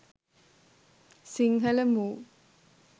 sinhala move